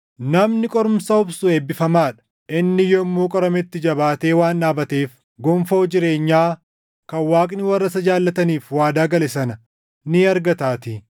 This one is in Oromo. Namni qorumsa obsu eebbifamaa dha; inni yommuu qorametti jabaatee waan dhaabateef gonfoo jireenyaa kan Waaqni warra isa jaallataniif waadaa gale sana ni argataatii.